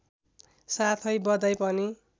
साथै बधाई पनि